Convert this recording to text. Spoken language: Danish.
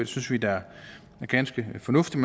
synes vi da er ganske fornuftigt